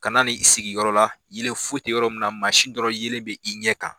Kana n'i sigi yɔrɔ la yelen foyi te yɔrɔ min na dɔrɔn yelen bɛ i ɲɛ kan.